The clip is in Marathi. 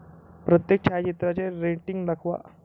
प्रत्येक छायाचित्राचे रेटिंग दाखवा